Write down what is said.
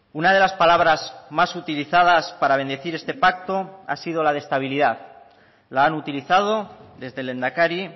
una de las palabras más utilizadas para bendecir este pacto ha sido la de estabilidad la han utilizado desde el lehendakari